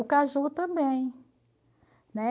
O caju também.